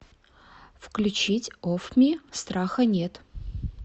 включить оффми страха нет